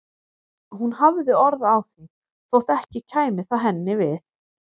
Hún hafði orð á því þótt ekki kæmi það henni við.